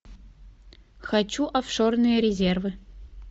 хочу офшорные резервы